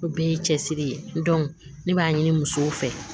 O bɛɛ ye cɛsiri ye ne b'a ɲini musow fɛ